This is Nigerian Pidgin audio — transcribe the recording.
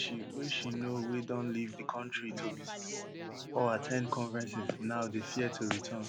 wey she wey she know wey don leave di kontri to visit home or at ten d conferences now dey fear to return